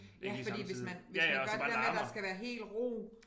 Ja fordi hvis man hvis man gør det der med at der skal være hel ro